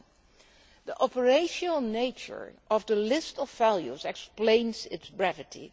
7. The operational nature of the list of values explains its brevity.